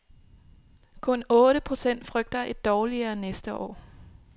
Kun otte procent frygter et dårligere næste år.